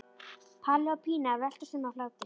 Palli og Pína veltast um af hlátri.